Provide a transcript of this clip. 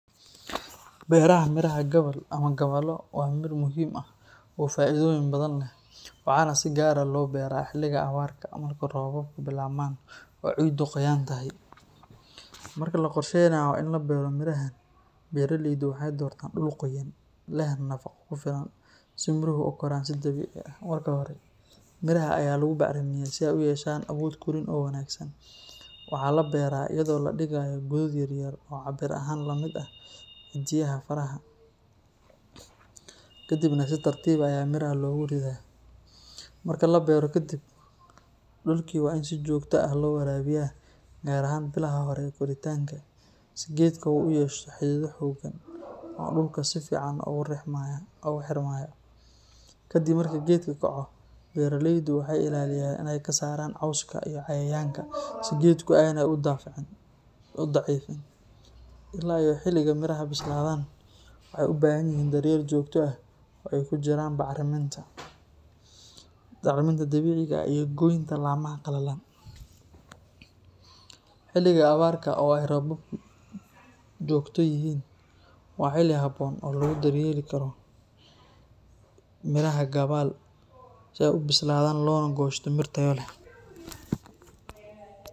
Beeraha miraha gabbal ama gabbalo waa mir muhiim ah oo faa’iidooyin badan leh, waxaana si gaar ah loo beeraa xilliga awrarka marka roobabku bilaabmaan oo ciiddu qoyan tahay. Marka la qorsheynayo in la beero mirahan, beeraleydu waxay doortaan dhul qoyan, leh nafaqo ku filan si miruhu u koraan si dabiici ah. Marka hore, miraha ayaa lagu bacrimiyaa si ay u yeeshaan awood korriin oo wanaagsan. Waxaa la beeraa iyadoo la dhigayo godad yar yar oo cabbir ahaan la mid ah ciddiyaha faraha, kadibna si tartiib ah ayaa miraha loogu ridaa. Marka la beero ka dib, dhulkii waa in si joogto ah loo waraabiyaa, gaar ahaan bilaha hore ee koritaanka, si geedka uu u yeesho xidido xooggan oo dhulka si fiican ugu xirmaya. Ka dib marka geedka kaco, beeraleydu waxay ilaaliyaan in ay ka saaraan cawska iyo cayayaanka si geedka aanay u daciifin. Ilaa iyo xilliga miraha bislaadaan, waxay u baahan yihiin daryeel joogto ah oo ay ku jiraan bacriminta dabiiciga ah iyo goynta laamaha qallalan. Xilliga awrarka oo ay roobabku joogto yihiin, waa xilli habboon oo lagu daryeeli karo miraha gabbal si ay u bislaadaan loona goosto mir tayo leh.